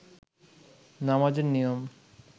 নামাজের নিয়ম